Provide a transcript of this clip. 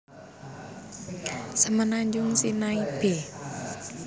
Semenanjung Sinai b